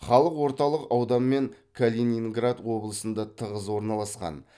халық орталық аудан мен калининград облысында тығыз орналасқан